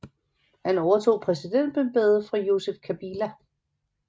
Han overtog præsidentembedet efter Joseph Kabila